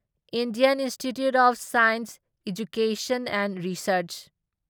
Indian Institute of Science Education and research